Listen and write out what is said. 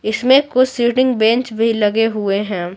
इसमें कुछ seating bench भी लगे हुए हैं।